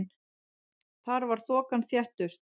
Þar var þokan þéttust.